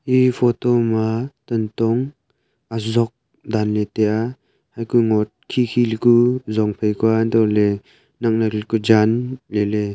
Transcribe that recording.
Ee photo ma tantong azok dan ley taiya haiku mo khi khi ley ku zong phai kua antoh ley nak nak ley kua jaan ley ley